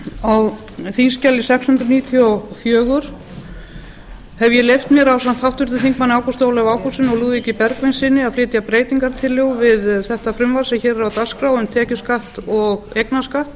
á þingskjali sex hundruð níutíu og fjögur hef ég leyft mér ásamt háttvirtum þingmanni ágústi ólafi ágústssyni og lúðvíki bergvinssyni að flytja breytingartillögu við þetta frumvarp sem hér er á dagskrá um tekjuskatt og eignarskatt